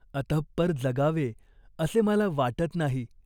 अतपर जगावे असे मला वाटत नाही.